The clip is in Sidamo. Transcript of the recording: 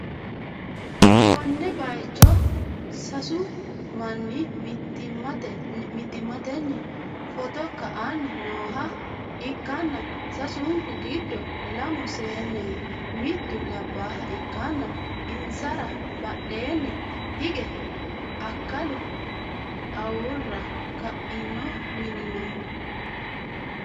konne bayicho sasu manni mittimmatenni footo ka'anni nooha ikkann, sasunku giddo lamu seenneho, mittu labbaha ikkanna, insara badheenni hige akkalu uwara ka'ino mini no.